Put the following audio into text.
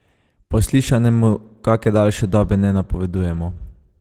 Po slišanem mu kake daljše dobe ne napovedujemo.